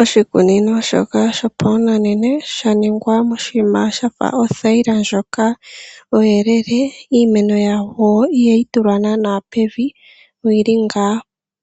Oshikunino shoka dhopashinanena shaningwa moshinima shafa othayila ndjoka ondjelele ndjo o ihayi tulwa naana pevi yili